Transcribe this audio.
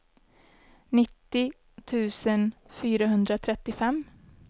nittio tusen fyrahundratrettiofem